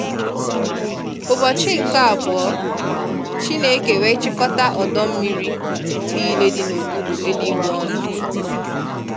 Ụbọchị nke abụọ, Chineke wee chịkọta ọdọ mmiri niile dị n'okpuru eligwe ọnụ.